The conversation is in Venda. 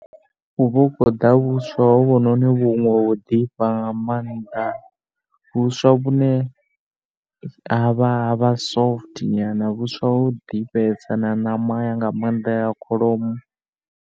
Hu vha hu khou ḓa vhuswa ho vhu no ni ho ḓifha nga maanḓa. Vhuswa vhune ha vha, ha vha soft nyana kana vhuswa ho ḓifhesa na ṋama nga maanḓa ya kholomo.